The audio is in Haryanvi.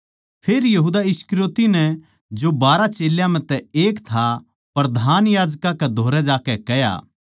फेर यहूदा इस्करियोती नै जो बारहां चेल्यां म्ह तै एक था प्रधान याजकां कै धोरै जाकै कह्या